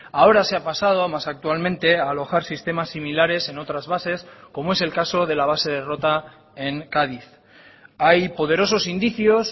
ahora se ha pasado más actualmente a alojar sistemas similares en otras bases como es el caso de la base de rota en cádiz hay poderosos indicios